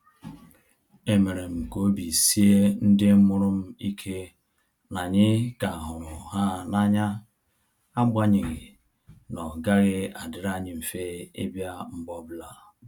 E mere m ka obi sie ndị mụrụ m ike na anyị ka hụrụ ha n'anya, agbanyeghi na ọ gaghị adịrị anyị mfe ịbịa mgbe ọbụla